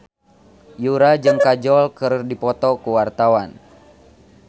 Yura jeung Kajol keur dipoto ku wartawan